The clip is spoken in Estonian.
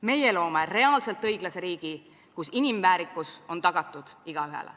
Meie loome reaalselt õiglase riigi, kus inimväärikus on tagatud igaühele.